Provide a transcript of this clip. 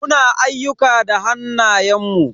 Muna ayyuka da hannayen mu.